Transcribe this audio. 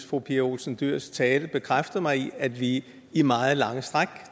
fru pia olsen dyhrs tale bekræftede mig i at vi i meget lange stræk